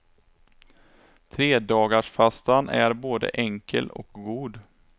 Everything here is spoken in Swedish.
Tredagarsfastan är både enkel och god.